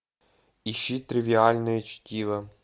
ищи тривиальное чтиво